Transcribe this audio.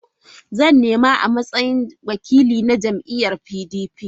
Zan nema a matsayin wakili na jam'iyyar PDP.